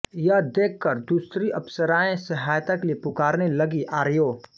यह देखकर दूसरी अप्सराएँ सहायता के लिए पुकारने लगीं आर्यों